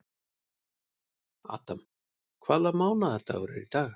Adam, hvaða mánaðardagur er í dag?